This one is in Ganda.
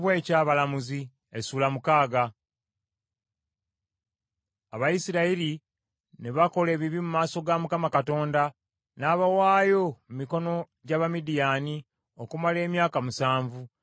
Abayisirayiri ne bakola ebibi mu maaso ga Mukama Katonda. N’abawaayo mu mikono gy’Abamidiyaani okumala emyaka musanvu.